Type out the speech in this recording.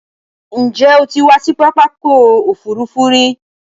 Ǹjẹ́ o ti wá sí pápákọ òfurufú rí?